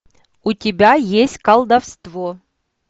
у тебя есть колдовство